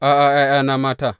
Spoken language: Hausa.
A’a, ’ya’yana mata.